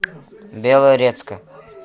белорецка